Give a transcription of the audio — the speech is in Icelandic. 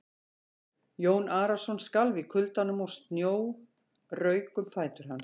Jón Arason skalf í kuldanum og snjór rauk um fætur hans.